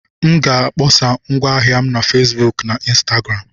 M ga-akpọsa ngwa ahịa m na Facebook na Instagram.